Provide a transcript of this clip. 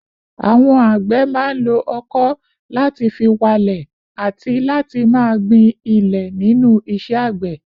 Àwọn àgbẹ̀ máa ń lo ọkọ̀ láti fi walẹ̀ àti láti máa gbin ilẹ̀ nínú iṣẹ́ àgbẹ̀